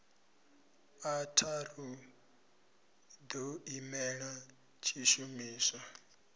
a tharu ḓo imela tshishumiswa